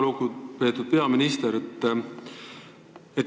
Väga lugupeetud peaminister!